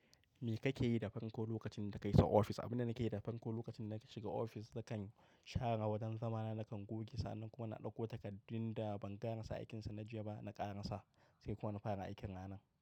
Me kake yi da farko lokacin da ka isa office? Abin da nake yi da farko lokacin da na shiga office, nakan share wajen zama na, nakan goge, sa'anan kuma na ɗauko takardun da ban gana sa aikinsa na jiya ba, na ƙara sa sai kuma na fara aikin ranan.